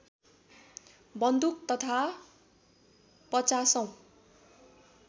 बन्दुक तथा पचासौँ